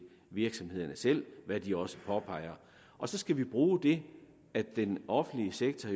virksomhederne selv hvad de også påpeger og så skal vi bruge det at den offentlige sektor